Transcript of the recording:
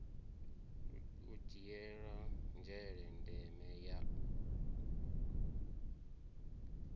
u dzhiela nzhele ndeme ya